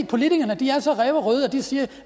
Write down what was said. politikerne er så ræverøde og siger at